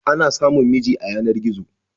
Ana samun miji a yanar-gizo.